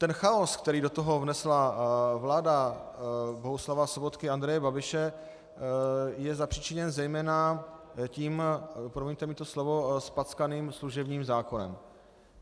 Ten chaos, který do toho vnesla vláda Bohuslava Sobotky a Andreje Babiše, je zapříčiněn zejména tím, promiňte mi to slovo, zpackaným služebním zákonem.